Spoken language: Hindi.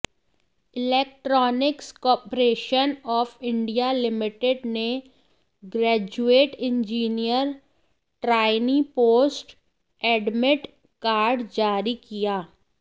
electronics corporation of India limited ने graduate engineer trainee post admit card जारी किया